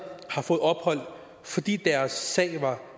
har fået ophold fordi deres sag var